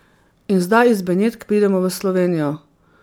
In zdaj iz Benetk pridemo v Slovenijo.